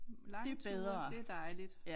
Lange ture det dejligt